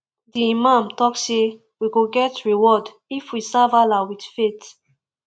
di imam talk say we go get reward if we serve allah with faith